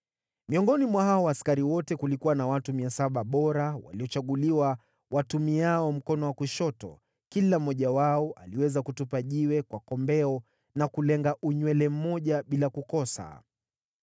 Miongoni mwa hao askari wote kulikuwa na watu 700 bora waliochaguliwa watumiao mkono wa kushoto, kila mmoja wao aliweza kutupa jiwe kwa kombeo na kulenga unywele mmoja bila kukosa.